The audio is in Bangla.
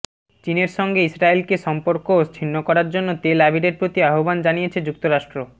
চীনের সঙ্গে ইসরায়েলকে সম্পর্ক ছিন্ন করার জন্য তেল আবিবের প্রতি আহ্বান জানিয়েছে যুক্তরাষ্ট্র